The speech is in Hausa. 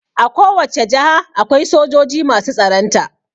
A ko wacce jaha akwai sojoji masu tsaronta